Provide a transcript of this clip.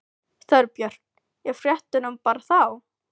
Þorbjörn: Í fréttunum bara þá?